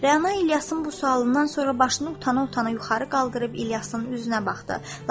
Rəna İlyasın bu sualından sonra başını utana-utana yuxarı qaldırıb İlyasın üzünə baxdı.